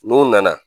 N'u nana